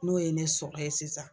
N'o ye ne sɔrɔ yen sisan